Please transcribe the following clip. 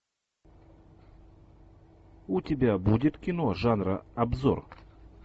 у тебя будет кино жанра обзор